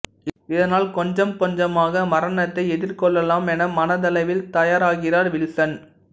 இதனால் கொஞ்சம் கொஞ்சமாக மரணத்தை எதிர்கொள்ளலாம் என மனதளவில் தயாராகிறார் வில்சன்